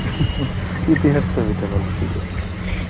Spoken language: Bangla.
ইতিহাস ছবিটা ভালো ছিলো